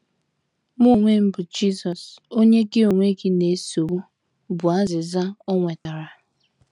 Mụ onwe m bụ Jisọs, Onye gị onwe gị na - esogbu, ” bụ azịza o nwetara.